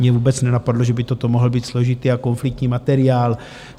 Mě vůbec nenapadlo, že by toto mohl být složitý a konfliktní materiál.